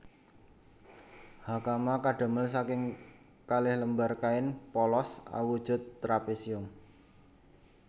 Hakama kadamel saking kalih lembar kain polos awujud trapesium